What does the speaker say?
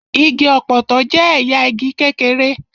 Igi ọ̀pọ̀tọ́ jẹ́ ẹ̀yà igi kékeré.